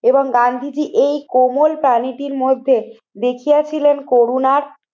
এবং গান্ধীজী এই কোমল প্রাণীটির মধ্যে দেখিয়াছিলেন করুনার